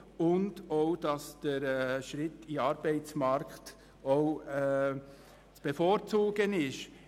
Auch sollen sie merken, dass der Arbeitsmarkt zu bevorzugen ist.